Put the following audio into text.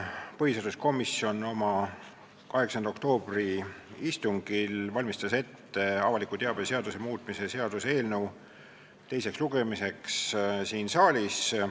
Põhiseaduskomisjon oma 8. oktoobri istungil valmistas ette avaliku teabe seaduse muutmise seaduse eelnõu teiseks lugemiseks siin saalis.